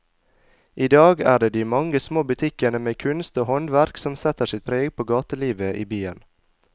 I dag er det de mange små butikkene med kunst og håndverk som setter sitt preg på gatelivet i byen.